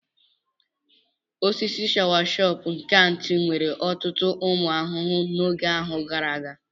Osisi shawasopu nke Aunty nwere ọtụtụ ụmụ ahụhụ n'oge ahụ gara aga.